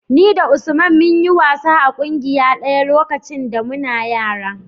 Ni da Usman mun yi wasa a ƙungiya ɗaya lokacin da muna yara.